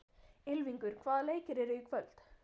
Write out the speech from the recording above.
Ylfingur, hvaða leikir eru í kvöld?